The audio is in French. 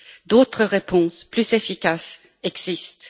D'autres réponses plus efficaces existent.